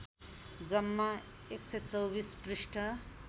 जम्मा १२४ पृष्ठ